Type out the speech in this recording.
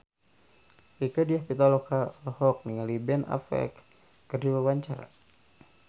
Rieke Diah Pitaloka olohok ningali Ben Affleck keur diwawancara